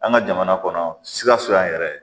An ka jamana kɔnɔ sikaso yan yɛrɛ